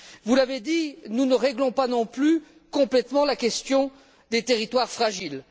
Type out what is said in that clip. Vous l'avez dit, nous ne réglons pas non plus complètement la question des territoires fragiles.